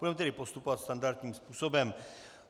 Budeme tedy postupovat standardním způsobem.